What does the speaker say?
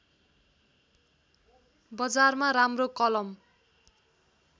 बजारमा राम्रो कलम